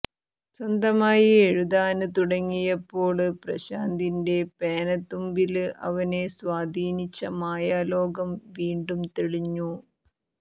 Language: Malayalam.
സ്വന്തമായി എഴുതാന് തുടങ്ങിയപ്പോള് പ്രശാന്തിന്റെ പേനത്തുമ്പില് അവനെ സ്വാധീനിച്ച മായലോകം വീണ്ടും തെളിഞ്ഞു